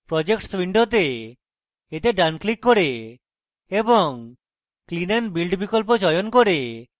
projects window এতে ডান click করে এবং clean and build বিকল্প চয়ন করে